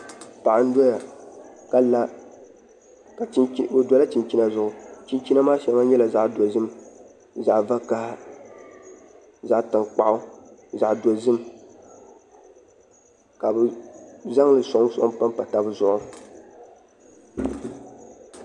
Paɣa n doya ka la o dola chinchina zuɣu chinchina maa shɛli nyɛla zaɣ dozim zaɣ vakaɣa zaɣ tankpaɣu zaɣ dozim ka bi zaŋli soŋ soŋ panpa tabi zuɣu